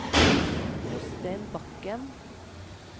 Jostein Bakken